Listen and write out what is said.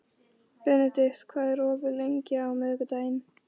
Benedikt, hvað er opið lengi á miðvikudaginn?